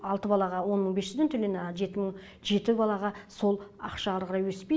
алты балаға он мың бес жүзден төленеді жеті балаға сол ақша ары қарай өспейді